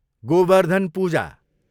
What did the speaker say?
Govardhan Puja